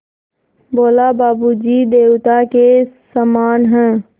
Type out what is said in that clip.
बोला बाबू जी देवता के समान हैं